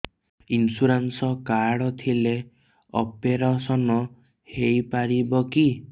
insurance card ଥିଲେ operation ହେଇପାରିବ କି